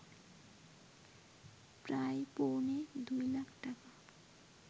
প্রায় পৌনে ২ লাখ টাকা